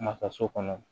Ma taa so kɔnɔ